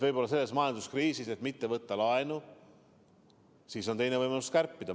Selles majanduskriisis, et mitte võtta laenu, ongi teine võimalus kärpida.